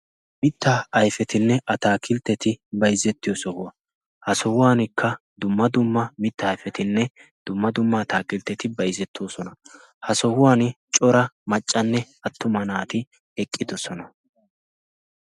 Mitta ayfetinne ataakiltteti bayzzettiyo sohuwaa ha sohuwankka dumma dumma mitta aifetinne dumma dumma ataakiltteti bayzzettoosona. ha sohuwan cora maccanne attuma naati eqqidosona.